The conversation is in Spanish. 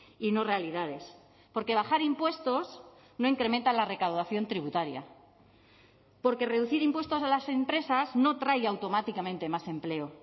y no realidades porque bajar impuestos no incrementa la recaudación tributaria porque reducir impuestos a las empresas no trae automáticamente más empleo